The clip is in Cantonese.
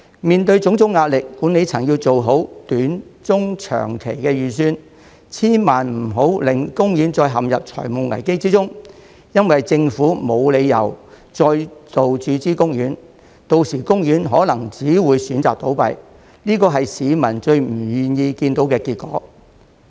面對種種壓力，管理層要做好短中長期的預算，千萬不能令公園再陷入財務危機中，因為政府已沒有理由再度注資公園，到時公園可能只有選擇倒閉，這是市民最不願意看到的結果。